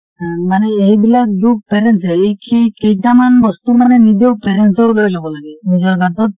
অ মানে এইবিলাক দোষ parents এ এই কেই কেইটামান বস্তু মানে নিজেও parents ৰ দৰে লব লাগে নিজৰ গা টোত